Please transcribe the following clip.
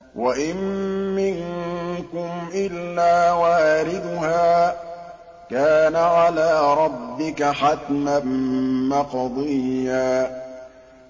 وَإِن مِّنكُمْ إِلَّا وَارِدُهَا ۚ كَانَ عَلَىٰ رَبِّكَ حَتْمًا مَّقْضِيًّا